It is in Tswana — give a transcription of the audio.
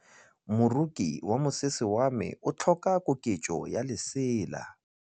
Moroki wa mosese wa me o tlhoka koketsô ya lesela.